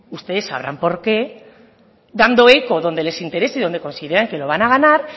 ustedes sabrán por qué dando eco donde les interese y donde consideren que lo van a ganar